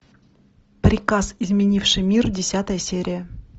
приказ изменивший мир десятая серия